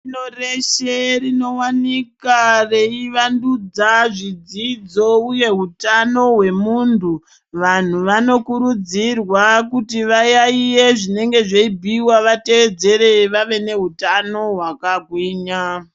Pashi rino reshe rinowanika reuvandudza zvidzidzo uye hutano hwemuntu. Vanhu vanokurudzirwa kuti vayaiye zvinenge zveibhuiwa vateedzere vave neutano hwakagwinya.